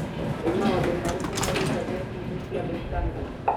Nĩ maũndũ marĩkũ marĩ ngathĩti-inĩ cia The Standard